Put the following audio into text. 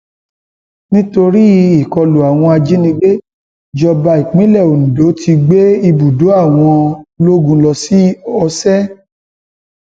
nítorí ìkọlù àwọn ajajínigbé ìjọba ìpínlẹ ondo ti gbé ibùdó àwọn ológun lọ sí ọsẹ